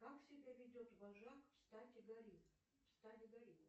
как себя ведет вожак в стаде горилла